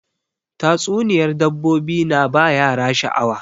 Tatsuniyar dabbobi na ba yara sha'awa